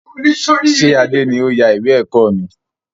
Ṣé Adé ni ó yà ìwé ẹ̀kọ́ mi?